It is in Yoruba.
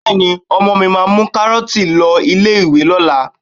Bẹ́ẹ̀ni, ọmọ mi máa mú kárọ́tì lọ ilé ìwé lọ́la